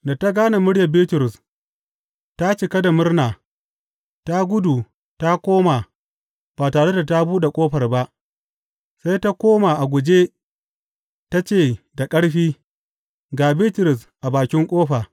Da ta gane muryar Bitrus, ta cika da murna ta gudu ta koma ba tare da ta buɗe ƙofar ba, sai ta koma a guje ta ce da ƙarfi, Ga Bitrus a bakin ƙofa!